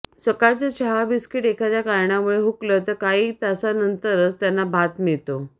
सकाळचं चहा बिस्किट एखाद्या कारणामुळे हुकलं तर काही तासानंतरच त्यांना भात मिळतो